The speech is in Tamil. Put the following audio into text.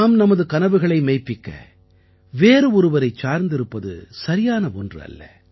நாம் நமது கனவுகளை மெய்ப்பிக்க வேறு ஒருவரைச் சார்ந்திருப்பது சரியான ஒன்று அல்ல